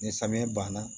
Ni samiya banna